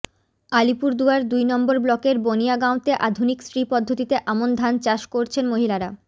আলিপুরদুয়ার দুই নম্বর ব্লকের বানিয়াগাঁওতে আধুনিক শ্রী পদ্ধতিতে আমন ধান চাষ করছেন মহিলারা